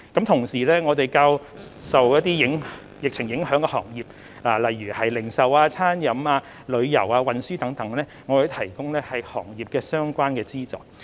同時，對於一些較受疫情影響的行業，例如零售、餐飲、旅遊和運輸等，我們也會提供與行業相關的資助。